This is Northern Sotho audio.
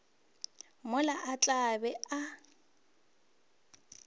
mola a tla be a